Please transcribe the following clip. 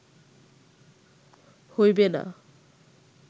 হইবে না